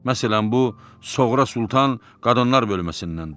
Məsələn bu Soğra Sultan qadınlar bölməsindəndir.